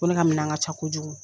Ko ne ka minɛn ka ca kojugu.